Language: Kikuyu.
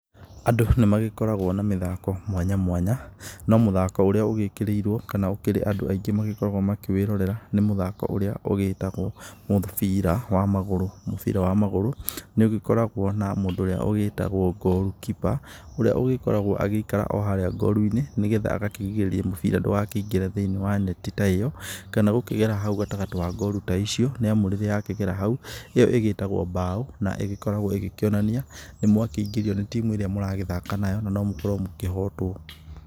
Andũ nĩ magĩkoragwo na mĩthako mwanya mwanya, no mũthako ũrĩa ũgĩĩkĩrĩirwo kana ũkĩrĩ andũ aingĩ magĩkoragwo makĩwĩrorera, nĩ mũthako ũrĩa ũgíĩtagwo mũbira wa magũrũ. Mũbira wa magũrũ nĩ ũgĩkoragwo na mũndũ ũrĩa ũgíĩtagwo goalkeeper ũrĩa ũgĩkoragwo agĩikara o harĩa gũruinĩ, nĩ getha agakĩrigĩrĩria mũbira ndũgakĩingĩre thĩiniĩ wa neti ta ĩyo, kana gũkĩgera hau gatagatĩ wa gũru ta icio, nĩ amu rĩrĩa yakĩgera hau ĩyo ĩgĩtagwo mbaũ na ĩgĩkoragwo ĩgĩkĩonania nĩ mwakĩingĩrio nĩ timu ĩrĩa mũragĩthaka nayo na no mũkorwo mũkĩhotwo.